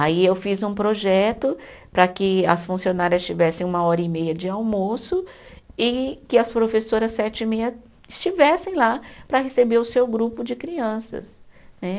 Aí eu fiz um projeto para que as funcionárias tivessem uma hora e meia de almoço e que as professoras sete e meia estivessem lá para receber o seu grupo de crianças né.